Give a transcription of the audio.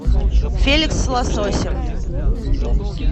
феликс с лососем